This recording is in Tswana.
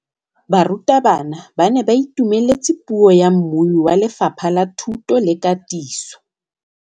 Barutabana ba ne ba itumeletse puô ya mmui wa Lefapha la Thuto le Katiso.